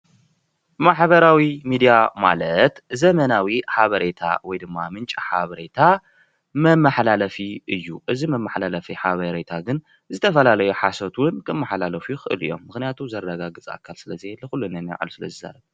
ማሕበራዊ ሚድያ ማለት ዘበናዊ ሓበሬታ ወይድማ ምንጪ ሓበሬታ መማሓላለፊ እዩ፡፡ እዚ መማሓላለፊ ሓበሬታ ግን ዝተፈላለዩ ሓሶት እውን ክመሓላለፉ ይክእሉ እዩም፡፡ ምክንያቱ ዘረጋግፅ ኣካል ስለ ዘየለ ኩሉ ነናይ ባዕሉ ስለዝሰርሕ፡፡